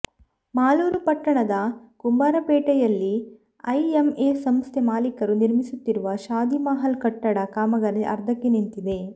ಮಾಲೂರು ಪಟ್ಟಣದ ಕುಂಬಾರಪೇಟೆಯಲ್ಲಿ ಐಎಂಎ ಸಂಸ್ಥೆ ಮಾಲಿಕರು ನಿರ್ಮಿಸುತ್ತಿರುವ ಶಾದಿಮಹಲ್ ಕಟ್ಟಡ ಕಾಮಗಾರಿ ಅರ್ಧಕ್ಕೆ ನಿಂತಿದೆ